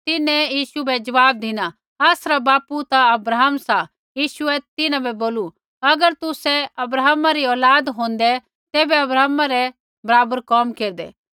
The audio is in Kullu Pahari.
तिन्हैं यीशु बै ज़वाब धिना आसरा बापू ता अब्राहम सा यीशुऐ तिन्हां बै बोलू अगर तुसै अब्राहमै री औलाद होंदै तैबै अब्राहमै रै बराबरा कोम केरदै